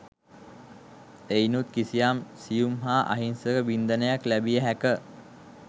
එයිනුත් කිසියම් සියුම් හා අහිංසක වින්දනයක් ලැබිය හැක.